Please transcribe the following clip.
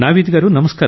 నావీద్ గారూ